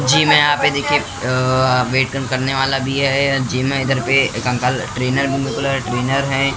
Gym है यहां पे देखिए अ वेट कम करने वाला भी है जिम है इधर पे एक अंकल ट्रेनर भी मतलब ट्रेनर है।